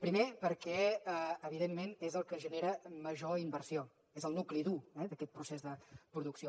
primer perquè evidentment és el que genera major inversió és el nucli dur d’aquest procés de producció